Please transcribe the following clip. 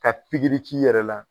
Ka pikiri k'i yɛrɛ la